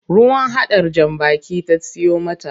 Ruwan hadar jan baki ta siyo mata.